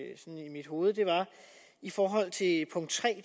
mit hoved er i forhold til punkt tre